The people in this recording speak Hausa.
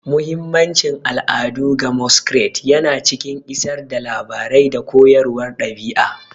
Muhimmancin al'adu ga Masquerades yana cikin isar da labarai da koyarwar ɗabi'a.